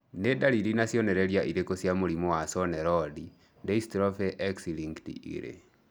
Nĩ ndariri na cionereria irĩkũ cia mũrimũ wa Cone rod dystrophy X linked 2?